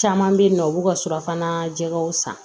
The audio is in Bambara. Caman bɛ yen nɔ u b'u ka surafana jɛgɛw san